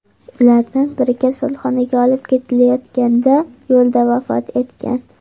Ulardan biri kasalxonaga olib ketilayotganda yo‘lda vafot etgan.